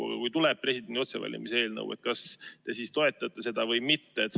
Et kui tuleb lauale presidendi otsevalimise eelnõu, siis kas te toetate seda või mitte?